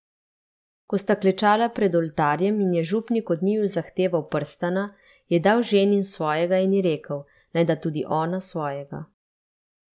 Ko sta klečala pred oltarjem in je župnik od njiju zahteval prstana, je dal ženin svojega in ji rekel, naj da tudi ona svojega.